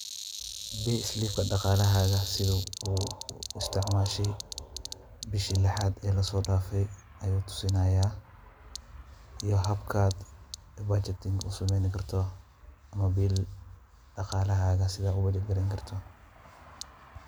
payslip daqalahaga sethi oo isticmashay beeshi leexat oo la sodafay ayu tuusinaya iyo habkat budgeting u sameeyni kartoh amah daqalahaka sethi uwathi kartoh.